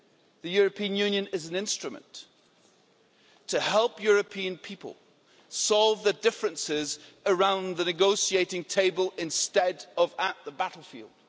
The European Union is an instrument to help European people solve their differences around the negotiating table instead of at the battlefield.